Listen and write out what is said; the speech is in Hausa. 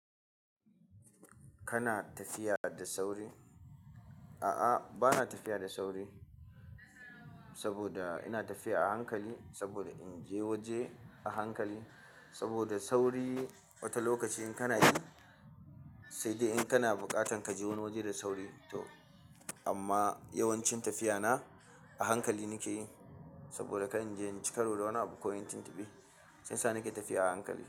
Kana tafiya da sauri? A'a, bana tafiya da sauri saboda ina tafiya a hankali saboda in je waje a hankali. Saboda sauri wata lokaci in kana yi sai dai in kana buƙatan kaje wani waje da sauri amma yawanci tafiya na a hankali nake yi saboda kar inje inyi karo da wani abu ko inyi tuntuɓe shi yasa nake tafiya a hankali.